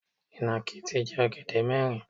Ìnàkí ti jẹ ọ̀gẹ̀dẹ̀ mẹ́rin.